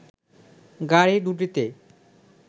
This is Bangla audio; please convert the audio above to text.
গাড়ি দু'টিতে